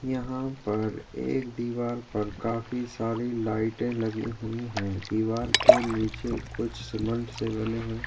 यहाँ पर एक दीवार पर काफी सारी लाइटें लगी हुईं है दीवार के नीचे कुछ सीमेंट से बने हुए--